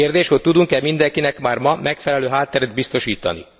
Kérdés, hogy tudunk e mindenkinek már ma megfelelő hátteret biztosítani?